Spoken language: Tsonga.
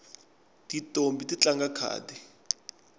tintombhi ti tlanga khadi